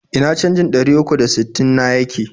Ina canjin ɗari uku da sittin na yake?